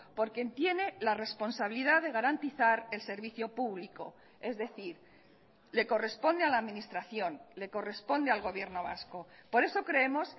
porque tiene la responsabilidad de garantizar el servicio público es decir le corresponde a la administración le corresponde al gobierno vasco por eso creemos